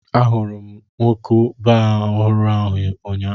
Ahụrụ m nnukwu baa ọhụrụ ahụ ụnyaahụ.